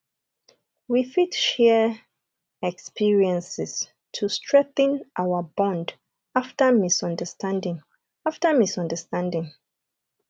we fit share experiences to strengthen our bond after misunderstanding after misunderstanding